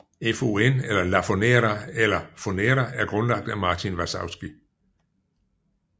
FON eller Lafonera eller Fonera er grundlagt af Martin Varsavsky